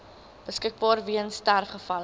beskikbaar weens sterfgevalle